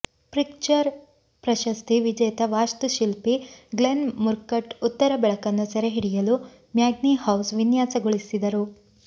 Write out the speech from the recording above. Pritzker ಪ್ರಶಸ್ತಿ ವಿಜೇತ ವಾಸ್ತುಶಿಲ್ಪಿ ಗ್ಲೆನ್ ಮುರ್ಕಟ್ ಉತ್ತರ ಬೆಳಕನ್ನು ಸೆರೆಹಿಡಿಯಲು ಮ್ಯಾಗ್ನಿ ಹೌಸ್ ವಿನ್ಯಾಸಗೊಳಿಸಿದರು